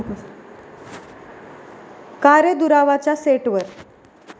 का रे दुरावा'च्या सेटवर